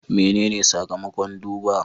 Menene sakamakon duba?